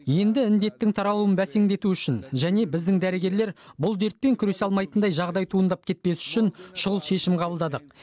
енді індеттің таралуын бәсеңдету үшін және біздің дәрігерлер бұл дертпен күресе алмайтындай жағдай туындап кетпес үшін шұғыл шешім қабылдадық